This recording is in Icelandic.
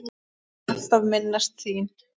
Ég mun alltaf minnast þín.